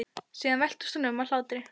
Síðan veltist hún um af hlátri.